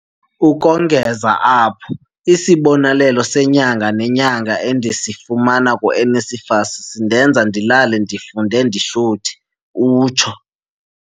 "Ukongeza apho, isibonelelo senyanga nenyanga endisifumana ku-NSFAS sindenza ndilale ndifunde ndihluthi," utsho.